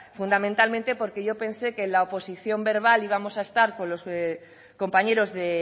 fundamentalmente porque yo pensé que en la oposición verbal íbamos a estar con los compañeros de